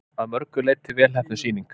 Að mörgu leyti vel heppnuð sýning